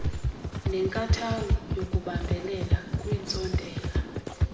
nenkathalo yokubambelela kwiintsontela